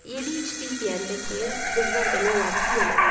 Yedik, içdik deyəndə ki, qızlar demək olar ki, yemədilər.